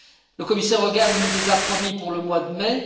Le commissaire Hogan nous les a promis pour le mois de mai.